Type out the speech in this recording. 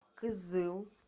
кызыл